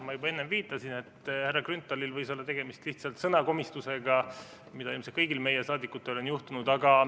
Ma juba enne viitasin, et härra Grünthalil võis olla tegemist lihtsalt sõnakomistusega, mida ilmselt kõigil saadikutel on juhtunud.